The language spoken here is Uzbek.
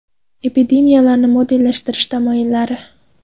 Epidemiyalarni modellashtirish tamoyillari.